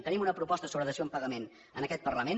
tenim una proposta sobre dació en pagament en aquest parlament